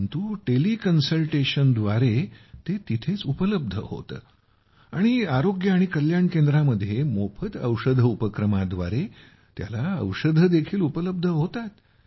परंतु टेली कन्सल्टेशनद्वारे ते तिथेच उपलब्ध होते आणि आरोग्य आणि कल्याण केंद्रामध्ये मोफत औषध उपक्रमाद्वारे त्याला औषध देखील उपलब्ध होतात